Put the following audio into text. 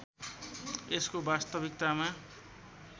यसको वास्तविकतामा